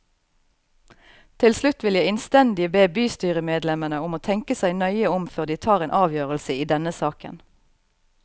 Til slutt vil jeg innstendig be bystyremedlemmene om å tenke seg nøye om før de tar en avgjørelse i denne saken.